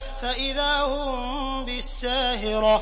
فَإِذَا هُم بِالسَّاهِرَةِ